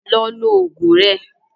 Lọ lo oògùn rẹ